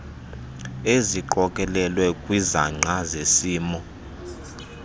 eziqokelelwe kwizangqa zesimo